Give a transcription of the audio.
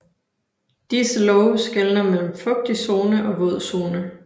Disse love skelner mellem fugtig zone og vådzone